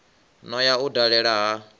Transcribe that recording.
no ya u dala ha